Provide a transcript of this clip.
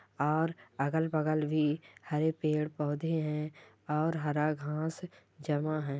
और अगल-बगल भी हरे पेड़ पौधे है और हरा घाँस जमा है।